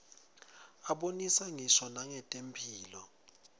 abonisa ngisho nangetemphilo